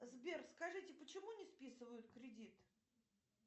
сбер скажите почему не списывают кредит